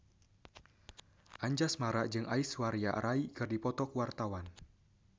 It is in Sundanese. Anjasmara jeung Aishwarya Rai keur dipoto ku wartawan